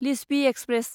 Lichchhavi express